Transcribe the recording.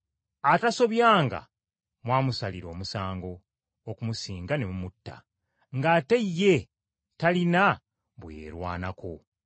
Atasobyanga mwamusalira omusango okumusinga ne mumutta, ng’ate ye talina bwe yeerwanirako.